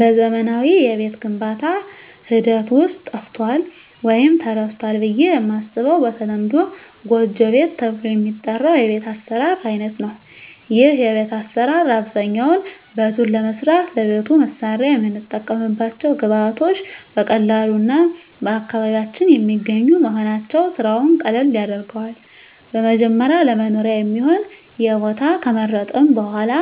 በዘመናዊ የቤት ግንባታ ሐደት ውስጥ ጠፍቶአል ወይም ተረስቶል ብየ የማስበው በተለምዶ ጎጆ ቤት ተብሎ የሚጠራው የቤት አሰራር አይነት ነው ይህ የቤት አሰራር አብዛኛውነ ቤቱን ለመስራት ለቤቱ መስሪያ የምንጠቀምባቸው ግብአቶች በቀላሉ እና በአካባቢያችን የሚገኙ መሆናቸው ስራውን ቀለል ያደርገዋል በመጀመሪያ ለመኖሪያ የሚሆን የቦታ ከመረጥን በሁዋላ